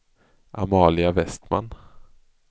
Amalia Westman